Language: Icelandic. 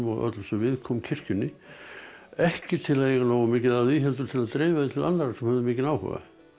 öllu sem viðkom kirkjunni ekki til að eiga nógu mikið af því heldur til að dreifa því til annarra sem höfðu mikinn áhuga